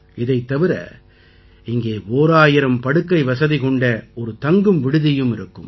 இதைத் தவிர இங்கே ஒராயிரம் படுக்கை வசதி கொண்ட ஒரு தங்கும் விடுதியும் இருக்கும்